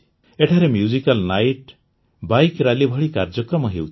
ଏଠାରେ musical night bike rally ଭଳି କାର୍ଯ୍ୟକ୍ରମ ହେଉଛି